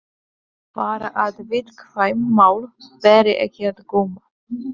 Bara að viðkvæm mál beri ekki á góma.